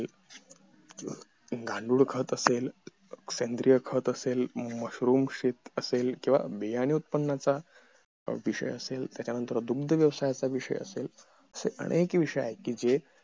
गांडूळ खत असेल सेंद्रिय खत असेल मश्रूम शेत असेल बियाणी उत्पनाचा विषय असेल त्याच्या नंतर दुग्ध व्यवसायाचा विषय असेल असे अनेक विषय आहेत कि जे